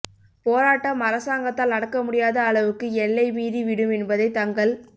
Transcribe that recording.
போராட்டம் அரசாங்கத்தால் அடக்க முடியாத அளவுக்கு எல்லை மீறி விடும் என்பதைத் தங்கள்